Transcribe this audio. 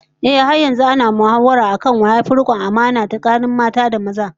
Ehh, har yanzu ana mahawara akan wa yafi rikon amana tsakanin mata da maza